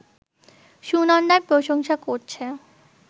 সুনন্দার প্রশংসা করছে